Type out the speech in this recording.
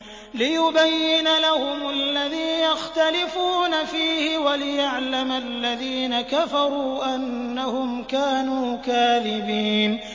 لِيُبَيِّنَ لَهُمُ الَّذِي يَخْتَلِفُونَ فِيهِ وَلِيَعْلَمَ الَّذِينَ كَفَرُوا أَنَّهُمْ كَانُوا كَاذِبِينَ